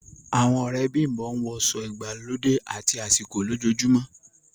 Awọn ọ̀rẹ́ Bimbo ǹwọ aṣọ igbàlódẹ àti àsìkò lójóòjúmọ